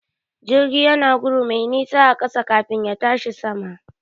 Jirgi yana gudu mai nisa a ƙasa kafin ya tashi sama.